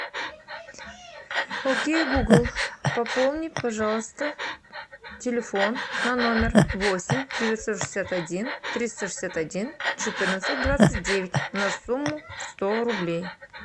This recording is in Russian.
окей гугл пополни пожалуйста телефон на номер восемь девятьсот шестьдесят один триста шестьдесят один четырнадцать двадцать девять на сумму сто рублей